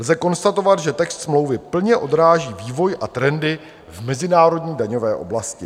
Lze konstatovat, že text smlouvy plně odráží vývoj a trendy v mezinárodní daňové oblasti.